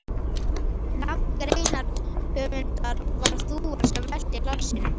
Nafn greinarhöfundar var þúfan sem velti hlassinu.